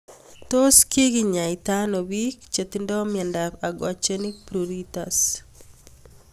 Tos kikenyaita ano pik che tinye miondop aquagenic pruritus